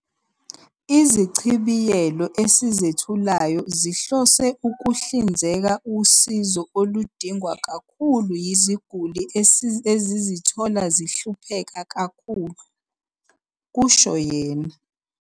"Izichibiyelo esizethulayo zihlose ukuhlinzeka usizo oludingwa kakhulu yiziguli ezizithola zihlupheka kakhulu," kusho yena